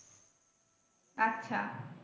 আচ্ছা।